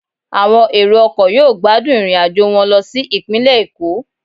Àwọn èrò ọkọ̀ yóò gbádùn irinajo wọn lo si ipinle Eko